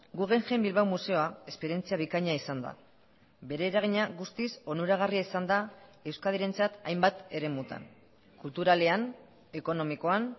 guggenheim bilbao museoa esperientzia bikaina izan da bere eragina guztiz onuragarria izan da euskadirentzat hainbat eremutan kulturalean ekonomikoan